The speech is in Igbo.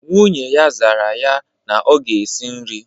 Nwunye ya zara ya na ọ ga-esi nri